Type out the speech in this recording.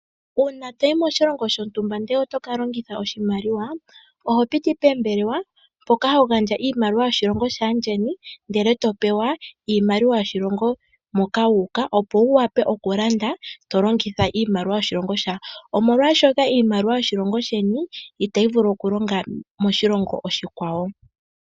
Uuna to yi moshilongo shontumba ndele oto ka longitha oshimaliwa, oho piti poombelewa mpoka ho gandja iimaliwa yoshilongo shaandjeni, ndele to pewa iimaliwa yoshilongo moka wu uka, opo wu wape okulanda to longitha iimaliwa yoshilongo shoka, molwashoka iimaliwa yoshilongo sheni itayi vulu okulonga moshilongo oshikwawo.